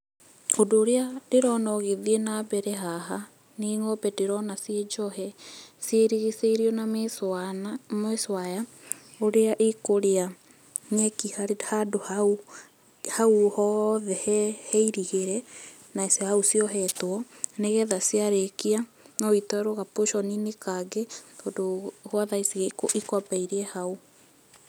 Ũndũ ũrĩa ndĩrona ũgĩthiĩ na mbere haha nĩ ngombe ndĩrona ciĩ njohe, cirigicĩirio na mesh wire ũrĩa ĩĩ kũrĩá nyekĩ handũ hau hothe hairigire na hau ciohetwo, nĩgetha ciarĩkia noitwarwo ga portion -inĩ kangĩ, tondũ gwa thaa ici ikwamba irie hau.